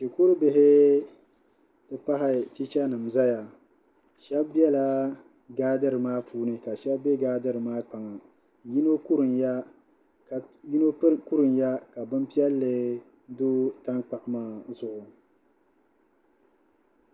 Shikurubihi ti pahi chichanima zayashɛba bela gaadiri maa puuni ka shɛba be gaadiri maa kpaŋa yino kurumya ka bimpiɛlli do tankpaɣu maa zuɣu